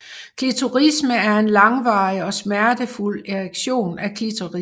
Klitorisme er en langvarig og smertefuld erektion af klitoris